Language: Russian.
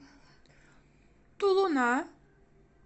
тулуна